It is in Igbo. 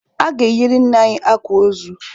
A ga-eyiri nna anyi akwa ozu!